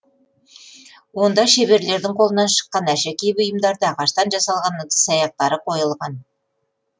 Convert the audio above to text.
онда шеберлердің қолынан шыққан әшекей бұйымдарды ағаштан жасалған ыдыс аяқтары қойылған